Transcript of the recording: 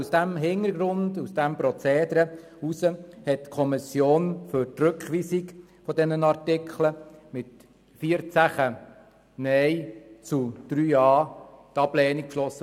Aus diesem Grund hat die Kommission mit 14 Nein- zu 3 Ja-Stimmen die Ablehnung des Rückweisungsantrags beschlossen.